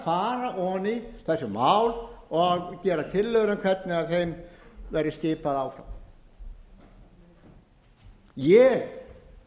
í þessi mál og gera tillögur um hvernig þeim verði skipað áfram ég